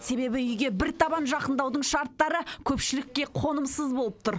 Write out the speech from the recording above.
себебі үйге бір табан жақындаудың шарттары көпшілікке қонымсыз болып тұр